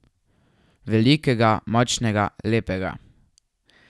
Velikega, močnega, lepega.